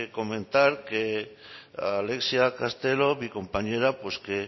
comentar que alexia castelo mi compañera pues que